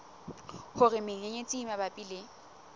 hore menyenyetsi e mabapi le